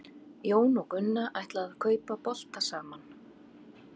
Jón og Gunna ætla að kaupa bolta saman.